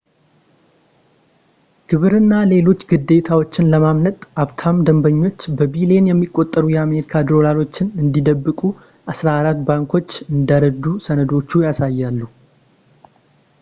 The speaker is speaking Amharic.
ግብር እና ሌሎች ግዴታዎችን ለማምለጥ ሀብታም ደንበኞች በቢሊየን የሚቆጠሩ የአሜሪካ ዶላሮችን እንዲደብቁ አስራ አራት ባንኮች እንደረዱ ሰነዶቹ ያሳያሉ